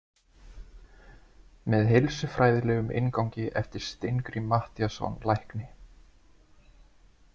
Með heilsufræðilegum inngangi eftir Steingrím Matthíasson lækni.